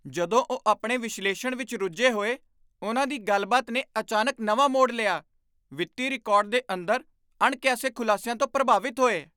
ਜਦੋਂ ਉਹ ਆਪਣੇ ਵਿਸ਼ਲੇਸ਼ਣ ਵਿੱਚ ਰੁੱਝੇ ਹੋਏ, ਉਨ੍ਹਾਂ ਦੀ ਗੱਲਬਾਤ ਨੇ ਅਚਾਨਕ ਨਵਾਂ ਮੋੜ ਲਿਆ, ਵਿੱਤੀ ਰਿਕਾਰਡ ਦੇ ਅੰਦਰ ਅਣਕਿਆਸੇ ਖ਼ੁਲਾਸਿਆਂ ਤੋਂ ਪ੍ਰਭਾਵਿਤ ਹੋਏ।